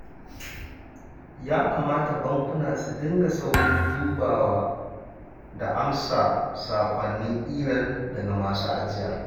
Ya kamata bankuna su dinga saurin dubawa da amsa saƙonnin imel daga masu ajiya